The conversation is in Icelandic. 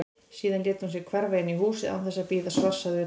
Síðan lét hún sig hverfa inn í húsið án þess að bíða svars að utan.